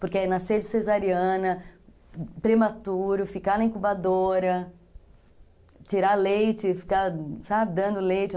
Porque nascer de cesariana, prematuro, ficar na incubadora, tirar leite, ficar, sabe, dando leite.